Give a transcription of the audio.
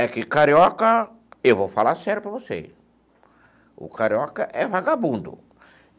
É que carioca, eu vou falar sério para você, o carioca é vagabundo.